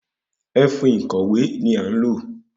Ẹfun ìkòwé ni a n lo